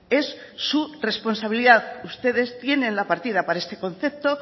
es su responsabilidad ustedes tienen la partida para este concepto